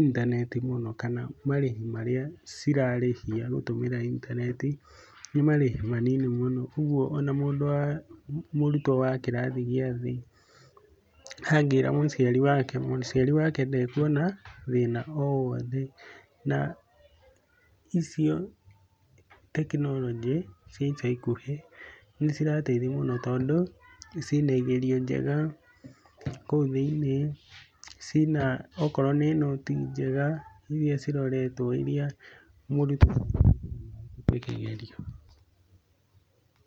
intaneti mũno kana marĩhi marĩa cirarĩhia gũtũmira intaneti, ni marĩhi manini mũno. Ũguo ona mũndũ wa, mũrutwo wa kĩrathi gĩa thĩ angĩĩra mũciari wake, mũciari wake ndekuona thĩna o wothe. Na icio tekinoronjĩ cia ica ikuhĩ ni cirateithia mũno, tondũ ciĩna igerio njega kũu thĩiniĩ, cina okorwo nĩ nũti njega irĩa ciroretwo irĩa mũrutwo angĩhũthĩa na ahĩtũke kĩgerio.